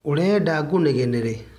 Ũrenda gũnegenere.